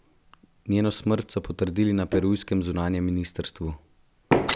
Njeno smrt so potrdili na perujskem zunanjem ministrstvu.